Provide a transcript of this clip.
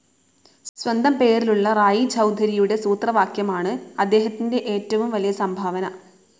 സ്വന്തം പേരിലുള്ള റായി ചൗധരിയുടെ സൂത്രവാക്യമാണ് അദ്ദേഹത്തിൻ്റെ ഏറ്റവും വലിയ സംഭാവന.